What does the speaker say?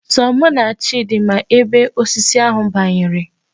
Sọ mụ na Chidi ma ebe osisi ahụ banyere.